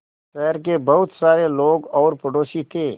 शहर के बहुत सारे लोग और पड़ोसी थे